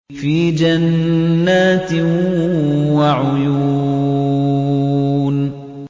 فِي جَنَّاتٍ وَعُيُونٍ